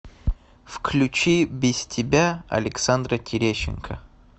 включи без тебя александра терещенко